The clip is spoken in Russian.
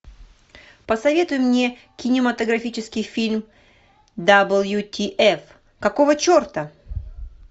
посоветуй мне кинематографический фильм дабл ю ти эф какого черта